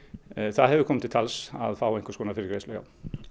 það hefur komið til tals að fá einhvers konar fyrirgreiðslu og